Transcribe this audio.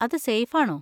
അത് സേഫ് ആണോ?